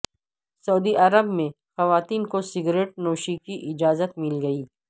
سعودی عرب میں خواتین کو سگریٹ نوشی کی اجازت مل گئی